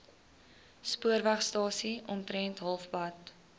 spoorwegstasie omtrent halfpad